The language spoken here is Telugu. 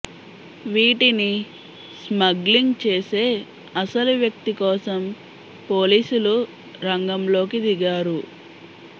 వీటిని స్మగ్లింగ్ చేసే అసలు వ్యక్తి కోసం పోలీసులు రంగంలోకి దిగారు